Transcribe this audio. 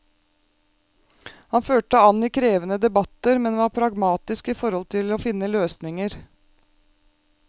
Han førte an i krevende debatter, men var pragmatisk i forhold til å finne løsninger.